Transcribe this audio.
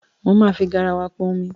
Mo máa fi garawa pọn omi.